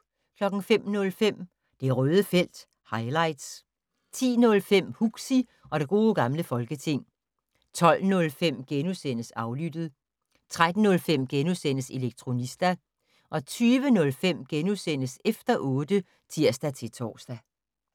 05:05: Det Røde felt - highlights 10:05: Huxi og det gode gamle folketing 12:05: Aflyttet * 13:05: Elektronista * 20:05: Efter otte *(tir-tor)